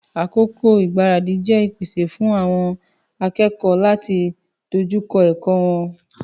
Àkókò igbaradi jẹ ìpèsè fún àwon akékòó láti dójúkọ èkó won